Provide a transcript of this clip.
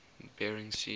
bering sea